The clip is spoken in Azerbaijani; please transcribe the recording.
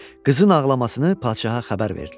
Qızın ağlamasını padşaha xəbər verdilər.